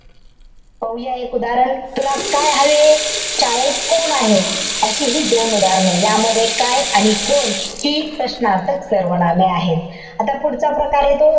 पाहूया एक उदाहरण. तुला काय हवे? शाळेत कोण आहे? अशी हि दोन उदाहरणं आहेत. यामध्ये काय आणि कोण हि प्रश्नार्थक सर्वनामे आहेत. आता पुढचा प्रकार येतो,